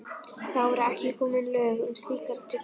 Þá voru ekki komin lög um slíkar tryggingar.